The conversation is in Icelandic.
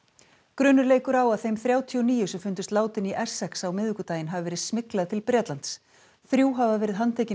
grunur leikur á að þeim þrjátíu og níu sem fundust látin í Essex á miðvikudaginn hafi verið smyglað til Bretlands þrjú hafa verið handtekin